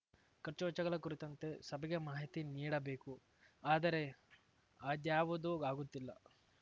ಖರ್ಚುವೆಚ್ಚಗಳ ಕುರಿತಂತೆ ಸಭೆಗೆ ಮಾಹಿತಿ ನೀಡಬೇಕು ಆದರೆ ಅದ್ಯಾವುದೂ ಆಗುತ್ತಿಲ್ಲ